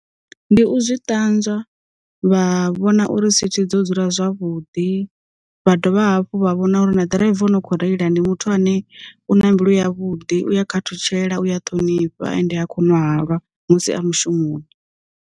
Ndi u zwi ṱanzwa, vha vhona uri sithi dzo dzula zwavhuḓi, vha dovha hafhu vha vhona uri na ḓiraiva no kho reila ndi muthu ane u na mbilu ya vhuḓi uya kha ṱutshela uya ṱhonifha, ende a khou ṅwa halwa musi a mushumoni.